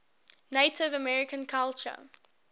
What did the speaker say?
native american culture